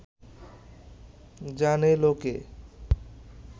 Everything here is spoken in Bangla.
জানে লোকে